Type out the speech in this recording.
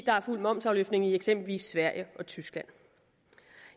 der er fuld momsafløftning i eksempelvis sverige og tyskland